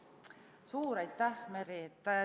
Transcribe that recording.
Suur aitäh, Merry!